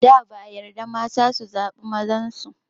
Da ba a yarda mata su zaɓi mazan su.